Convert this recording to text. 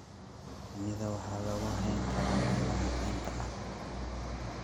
Shinida waxaa lagu hayn karaa meelaha kaynta ah.